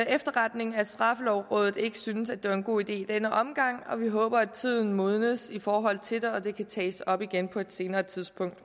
efterretning at straffelovrådet ikke synes at det var en god idé i denne omgang og vi håber at tiden modnes i forhold til det og at det kan tages op igen på et senere tidspunkt